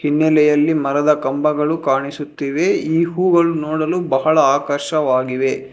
ಹಿನ್ನಲೆಯಲ್ಲಿ ಮರದ ಕಂಬಗಳು ಕಾಣಿಸುತ್ತಿವೆ ಈ ಹೂಗಳು ನೋಡಲು ಬಹಳ ಆಕರ್ಷವಾಗಿವೆ.